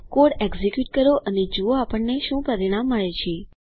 code execute કરો અને જુઓ આપણને શું પરિણામ મળે છે